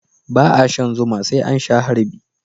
ba a shan zuma sai an sha harbi